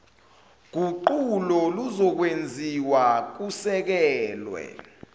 guquko luzokwenziwa kusekelwa